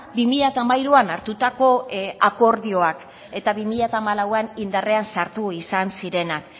bi mila hamairuan hartutako akordioak eta bi mila hamalauan indarrean sartu izan zirenak